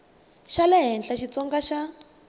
xa le henhla xitsonga xa